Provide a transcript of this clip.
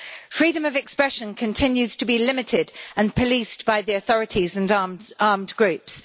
Freedom of expression continues to be limited, and policed by the authorities and armed groups.